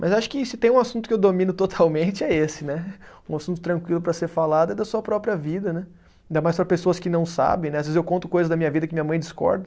Mas acho que se tem um assunto que eu domino totalmente é esse né, um assunto tranquilo para ser falado é da sua própria vida né, ainda mais para pessoas que não sabem né, às vezes eu conto coisas da minha vida que minha mãe discorda,